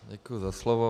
Děkuji za slovo.